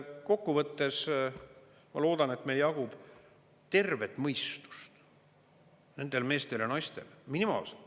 Kokku võttes ma loodan, et meil jagub tervet mõistust, nendel meestel ja naistel, minimaalselt.